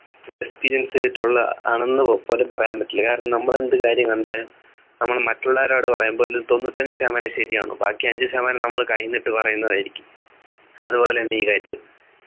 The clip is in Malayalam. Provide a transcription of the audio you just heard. experience ചെയ്തിട്ടുള്ള ആണെന്നോ പോലും പറയാൻ പറ്റില്ല കാരണം നമ്മൾ എന്ത് കാര്യങ്ങൾ കണ്ടാലും നമ്മൾ മറ്റുള്ളവരോട് പറയുമ്പോ അതിൽ തൊണ്ണൂറ്റഞ്ചു ശതമാനം ശരിയാണ് ബാക്കി അഞ്ചു ശതമാനം നമ്മൾ കയ്യിന്നു ഇട്ടു പറയുന്നതായിരിക്കും അതുപോലെന്നെ ഈ കാര്യം